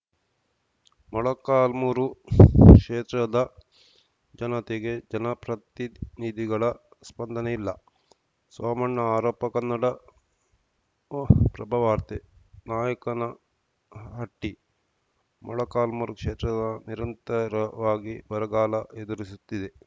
ಮೊಳಕಾಲ್ಮುರು ಕ್ಷೇತ್ರದ ಜನತೆಗೆ ಜನಪ್ರತಿನಿಧಿಗಳ ಸ್ಪಂದನೆ ಇಲ್ಲ ಸೋಮಣ್ಣ ಆರೋಪ ಕನ್ನಡಪ್ರಭವಾರ್ತೆ ನಾಯಕನಹಟ್ಟಿ ಮೊಳಕಾಲ್ಮೂರು ಕ್ಷೇತ್ರದ ನಿರಂತರವಾಗಿ ಬರಗಾಲ ಎದುರಿಸುತ್ತಿದೆ